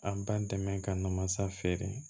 An b'an dɛmɛ ka na mansa feere